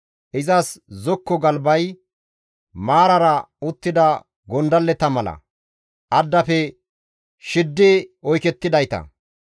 Izas zokko galbay maarara uttida gondalleta mala; addafe shiddi oykettidayta.